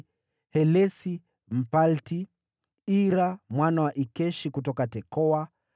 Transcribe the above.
Helesi, Mpalti; Ira mwana wa Ikeshi kutoka Tekoa;